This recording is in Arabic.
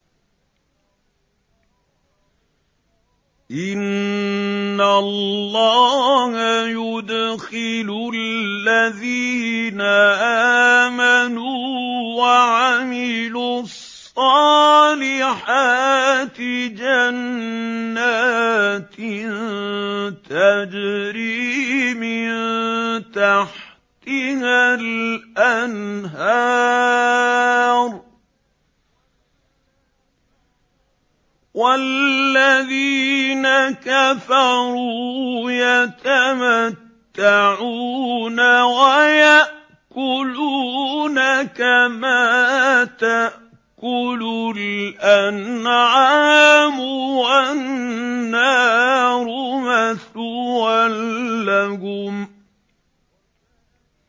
إِنَّ اللَّهَ يُدْخِلُ الَّذِينَ آمَنُوا وَعَمِلُوا الصَّالِحَاتِ جَنَّاتٍ تَجْرِي مِن تَحْتِهَا الْأَنْهَارُ ۖ وَالَّذِينَ كَفَرُوا يَتَمَتَّعُونَ وَيَأْكُلُونَ كَمَا تَأْكُلُ الْأَنْعَامُ وَالنَّارُ مَثْوًى لَّهُمْ